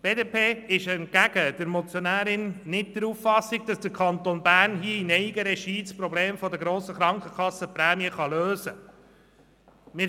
Die BDP-Fraktion ist entgegen der Motionärin nicht der Auffassung, dass der Kanton Bern das Problem der hohen Krankenkassenprämien hier in Eigenregie lösen kann.